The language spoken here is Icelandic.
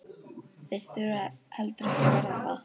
Þeir þurfa heldur ekki að verða það.